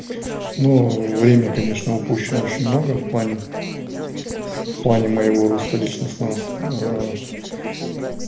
ну время конечно упущено очень много в плане в плане моего роста личностного с